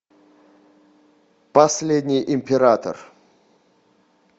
последний император